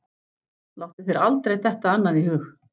Láttu þér aldrei detta annað í hug.